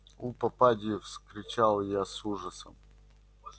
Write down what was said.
у попадьи вскричал я с ужасом